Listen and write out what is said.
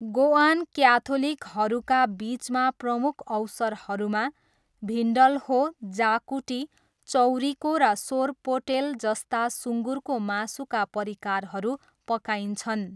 Goan क्याथोलिकहरूका बिचमा प्रमुख अवसरहरूमा भिन्डल्हो, जाकुटी, चौरिको र सोरपोटेल जस्ता सुँगुरको मासुका परिकारहरू पकाइन्छन्।